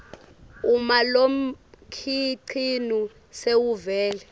uma lomkhicito sewuvele